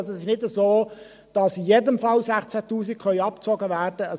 Es ist also nicht so, dass in jedem Fall 16 000 Franken abgezogen werden können.